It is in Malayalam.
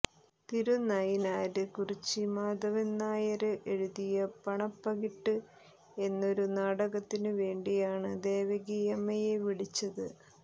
തിരുനയിനാര് കുറിച്ചി മാധവന്നായര് എഴുതിയ പട്ടണപ്പകിട്ട് എന്നൊരു നാടകത്തിനു വേണ്ടിയാണു ദേവകിയമ്മയെ വിളിച്ചത്